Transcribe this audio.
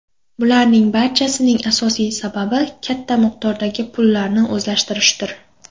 Bularning barchasining asosiy sababi katta miqdordagi pulni o‘zlashtirishdir.